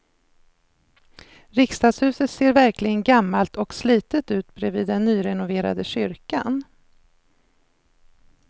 Riksdagshuset ser verkligen gammalt och slitet ut bredvid den nyrenoverade kyrkan.